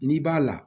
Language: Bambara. N'i b'a la